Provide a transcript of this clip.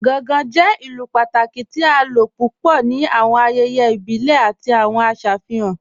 Gàngàn jẹ̀ ìlú pátàkí tì à ló púpọ̀ ní awọn ayẹyẹ ibìlẹ̀ àti awọn ìfihàn.